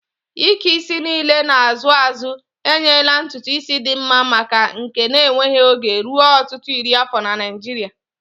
Ike isi niile na-azụ azụ enyela ntutu isi dị mma na nke na-enweghị oge ruo ọtụtụ iri afọ na Naijiria.